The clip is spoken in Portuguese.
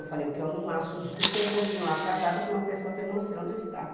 Eu falei, o que eu não acho justo é eu continuar casada com uma pessoa que eu não sei onde está.